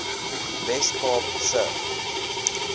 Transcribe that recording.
wes kaap se